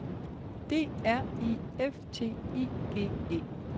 D R I F T I G E